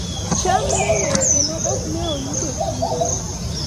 cham ne ng'eny kendo ok ne oyudo chiro